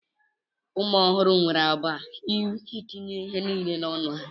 ụmụ ọhụrụ nwere àgwà nke itinye ihe niile n'ọnụ ha